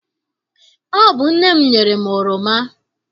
Ọ bụ nne m nyere m oroma.